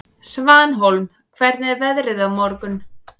Svanhólm, hvernig er veðrið á morgun?